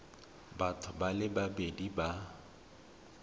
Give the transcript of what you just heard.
batho ba le babedi ba